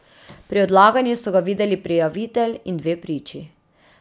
Pri odlaganju so ga videli prijavitelj in dve priči.